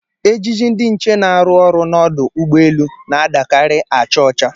Ejiji ndị nche na-arụ ọrụ n'ọdụ ụgbọelu na-adakarị acha ọcha.